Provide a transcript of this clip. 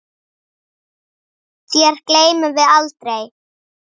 Þér gleymum við aldrei.